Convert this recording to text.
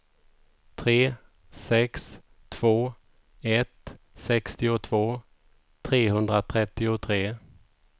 tre sex två ett sextiotvå trehundratrettiotre